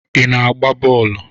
Ị na-agba bọọlụ?